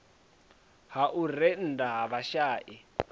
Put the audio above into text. ha u rennda ha vhashai